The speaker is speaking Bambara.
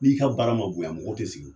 N'i ka baara ma bonyan mɔgɔ tɛ sigi.